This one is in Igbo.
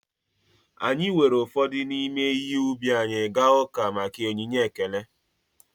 Anyị weere ụfọdụ n’ime ihe ubi anyị gaa uka maka maka onyinye ekele